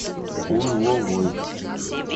узловой